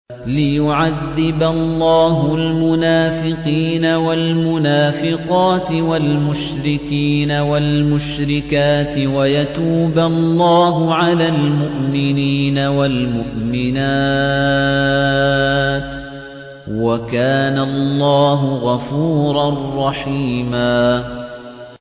لِّيُعَذِّبَ اللَّهُ الْمُنَافِقِينَ وَالْمُنَافِقَاتِ وَالْمُشْرِكِينَ وَالْمُشْرِكَاتِ وَيَتُوبَ اللَّهُ عَلَى الْمُؤْمِنِينَ وَالْمُؤْمِنَاتِ ۗ وَكَانَ اللَّهُ غَفُورًا رَّحِيمًا